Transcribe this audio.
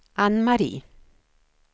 Anne-Marie